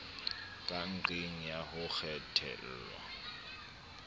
ka nqeng ya ho kwetelwa